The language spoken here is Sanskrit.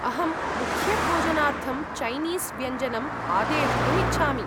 अहं मुख्यभोजनार्थं चैनीस् व्यञ्जनम् आदेष्टुम् इच्छामि।